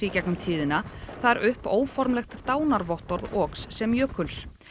í gegnum tíðina þar upp óformlegt dánarvottorð Oks sem jökuls